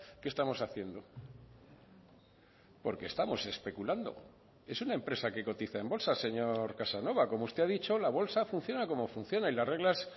qué estamos haciendo porque estamos especulando es una empresa que cotiza en bolsa señor casanova como usted ha dicho la bolsa funciona como funciona y las reglas